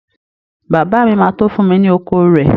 Bàbá mi ma tó fún mi ni oko rẹ